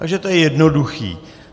Takže to je jednoduché.